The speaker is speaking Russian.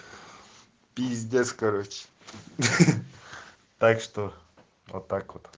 пиздец короче так что вот так вот